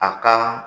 A ka